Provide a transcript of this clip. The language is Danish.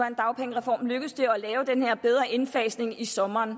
en dagpengereform lykkedes det at lave den her bedre indfasning i sommeren